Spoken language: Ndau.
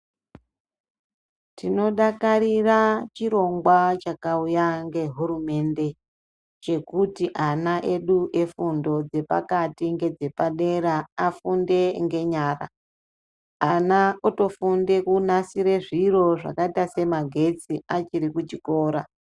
Tinodakarira chirongwa chakauya ngehurumende chekuti ana edu efundo dzepakati ngedzepadera afunde ngenyara. Ana otofunde kunasire zviro zvamaita semagetsi achiri kuchikora.